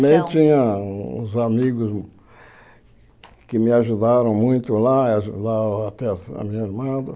Daí tinha uns amigos que me ajudaram muito lá, ajudaram até a minha irmã.